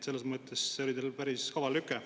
Selles mõttes oli see teil päris kaval lüke.